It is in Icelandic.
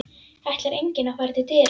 Ætlar enginn að fara til dyra?